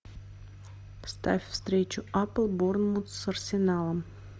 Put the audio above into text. ставь встречу апл борнмут с арсеналом